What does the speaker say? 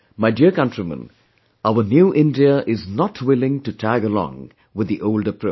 My dear countrymen, our new India is not willing to tag along with the old approach